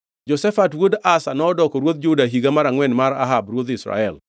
Jehoshafat wuod Asa nodoko ruodh Juda e higa mar angʼwen mar Ahab ruodh Israel.